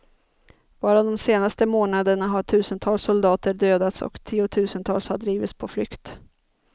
Bara de senaste månaderna har tusentals soldater dödats och tiotusentals har drivits på flykt.